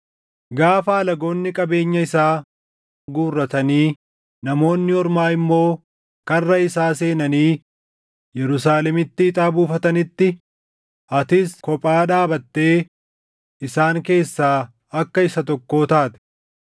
Gaafa alagoonni qabeenya isaa guurratanii namoonni ormaa immoo karra isaa seenanii Yerusaalemitti ixaa buufatanitti, atis kophaa dhaabattee isaan keessaa akka isa tokkoo taate.